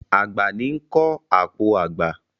Àgbà ní ń kọ́ àpò àgbà.